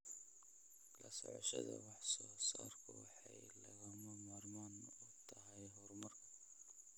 La socoshada wax soo saarku waxay lagama maarmaan u tahay horumarka.